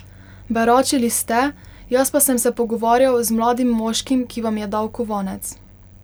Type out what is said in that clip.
Beračili ste, jaz pa sem se pogovarjal z mladim moškim, ki vam je dal kovanec.